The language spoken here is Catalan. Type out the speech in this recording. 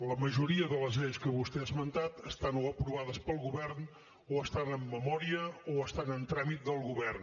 la majoria de les lleis que vostè ha esmentat estan o aprovades pel govern o estan en memòria o estan en tràmit del govern